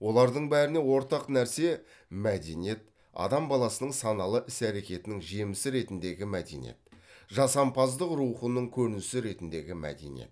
олардың бәріне ортақ нәрсе мәдениет адам баласының саналы іс әрекетінің жемісі ретіндегі мәдениет жасампаздық рухының көрінісі ретіндегі мәдениет